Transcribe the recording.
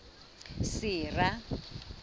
sera